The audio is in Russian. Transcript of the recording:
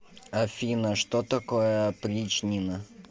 афина что такое опричнина